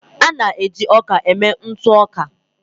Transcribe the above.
A na-eji ọka mee ntụ ọka.